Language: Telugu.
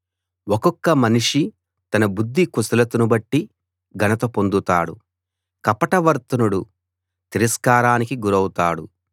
ఒక్కొక్క మనిషి తన బుద్ధి కుశలతను బట్టి ఘనత పొందుతాడు కపట వర్తనుడు తిరస్కారానికి గురౌతాడు